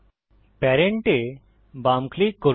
parent এ বাম click করুন